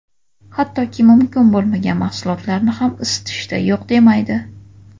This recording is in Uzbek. Hattoki, mumkin bo‘lmagan mahsulotlarni ham isitishda yo‘q demaydi.